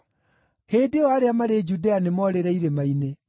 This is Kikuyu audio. hĩndĩ ĩyo arĩa marĩ Judea nĩmorĩre irĩma-inĩ.